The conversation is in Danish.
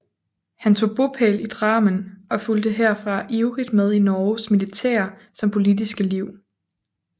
Han tog bopæl i Drammen og fulgte herfra ivrig med i Norges militære som politiske liv